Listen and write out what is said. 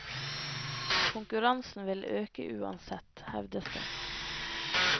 Konkurransen vil øke uansett, hevdes det.